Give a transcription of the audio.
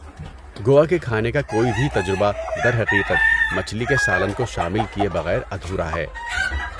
گوا کے کھانے کا کوئی بھی تجربہ درحقیقت، مچھلی کے سالن کو شامل کیے بغیر ادھورا ہے۔